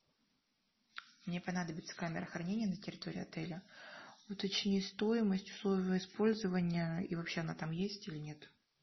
мне понадобится камера хранения на территории отеля уточни стоимость условия использования и вообще она там есть или нет